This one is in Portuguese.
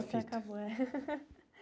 a fita. A fita acabou, é.